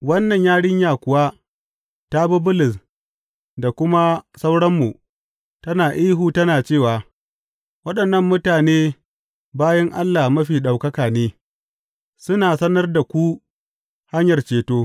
Wannan yarinya kuwa ta bi Bulus da kuma sauranmu, tana ihu tana cewa, Waɗannan mutane bayin Allah Mafi Ɗaukaka ne, suna sanar da ku hanyar ceto.